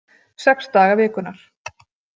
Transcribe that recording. Sex daga vikunnar.